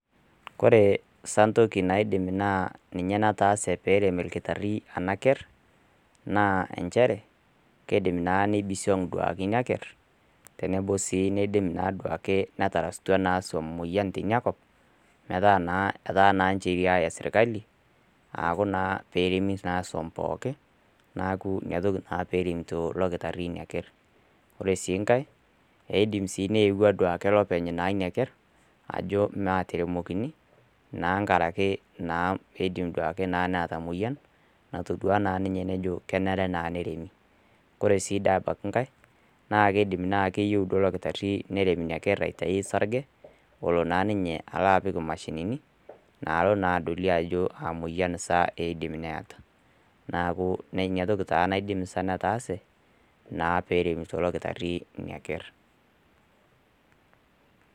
Ore sa entoki naa toki nataase peyie erem olakitari ena ker naa nchere, keidim duake neibisiong' duake ina ker, tenebo naa duake netarasikia naa siom moyian te ina kop, metaa naa etaa ninche eyiaya sirkali, aaku naa pee eremi naa siom pookin, neaku ina toki naa peremito ilo kitaaari ina ker. Ore sii enkai, eidim naake neepuo aduaki olopeny leina ker, ajo maateremokini, naa enkaraki keidim duake neata emoyian, natodua naa ninye nejo kenare naa neremi. Kore dii sii abaiki enkai, naa keidim naa keyou duo ilo dakitari nerem ina ker aitayu osarge, olo naa ninye alo apik imashinini, naalo naa adolie ajo kaa moyian sa eidim neata. Neaku ina toki taa neidim netaase, naa peremito ilo kitari ina ker.